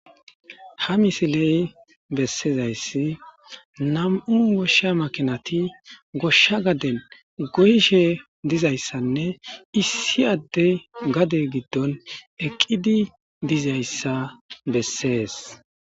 Ha misiley bessezayssi nam'u goshsha makinati goshsha gaden goyishe dizayssanne issi adde gade giddon eqqidi dizayssa bessees.